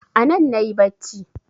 Anan nayi bacci